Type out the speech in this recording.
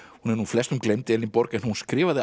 hún er nú flestum gleymd Elínborg en hún skrifaði